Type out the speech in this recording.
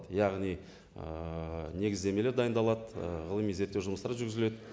яғни ііі негіздемелер дайындалады ііі ғылыми зерттеу жұмыстары жүргізіледі